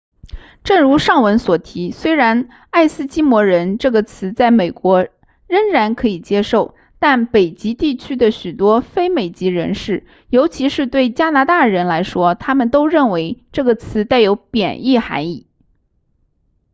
正如上文所提虽然爱斯基摩人这个词在美国仍然可以接受但北极地区的许多非美籍人士尤其是对加拿大人来说他们都认为这个词带有贬义含义